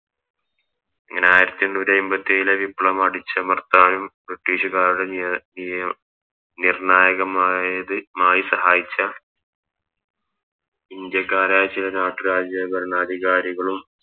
അങ്ങനെ ആയിരത്തി എണ്ണൂറ്റി അയിമ്പത്തി എയിലെ വിപ്ലവം അടിച്ചമർത്താനും ബ്രിട്ടീഷുകാരുടെ നീ നീ നിർണായകമായത് മായി സഹായിച്ച ഇന്ത്യക്കാരായ ചില നാട്ടു രാജ്യ ഭരണാധികാരികളും